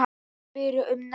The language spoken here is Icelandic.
Ekki spyrja um neitt.